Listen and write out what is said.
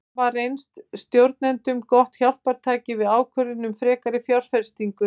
Þeir hafa reynst stjórnendum gott hjálpartæki við ákvörðun um frekari fjárfestingu.